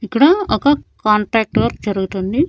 ఇక్కడా ఒక contact work జరుగుతుంది.